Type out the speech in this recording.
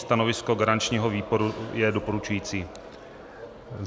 Stanovisko garančního výboru je doporučující.